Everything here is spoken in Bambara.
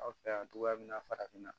Aw fɛ yan togoya min na farafinna